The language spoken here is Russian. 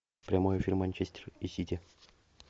прямой эфир манчестер и сити